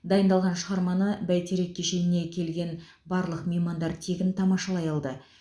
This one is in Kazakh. дайындалған шығарманы бәйтерек кешеніне келген барлық меймандар тегін тамашалай алды